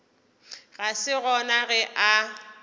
ga se gona ge a